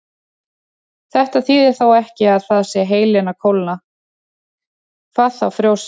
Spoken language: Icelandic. Þetta þýðir þó ekki að heilinn sé að kólna, hvað þá frjósa.